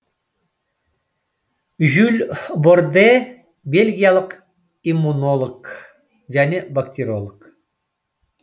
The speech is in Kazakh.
жюль борде бельгиялық иммунолог және бактериолог